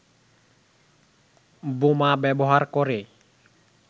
বোমা ব্যবহার করে